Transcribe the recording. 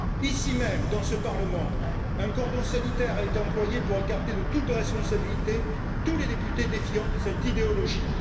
Ici même, dans ce Parlement, un cordon sanitaire a été employé pour écarter de toute responsabilité tous les députés défiant cette idéologie.